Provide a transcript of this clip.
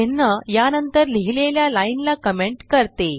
चिन्ह या नंतर लिहिलेल्या लाइन ला कमेंट करते